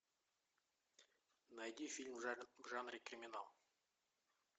найди фильм в жанре криминал